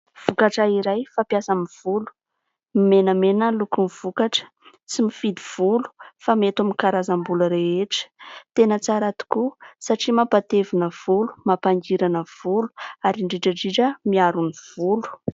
Vokatra iray fampiasa amin'ny volo. Menamena ny lokon'ny vokatra, tsy mifidy volo fa mety amin'ny karazam-bolo rehetra. Tena tsara tokoa satria mampatevina volo, mampangirana volo ary indrindra indrindra miaro ny volo.